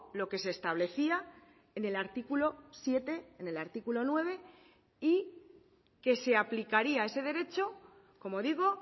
lo que se establecía en el artículo siete en el artículo nueve y que se aplicaría ese derecho como digo